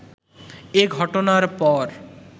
এ ঘটনার পর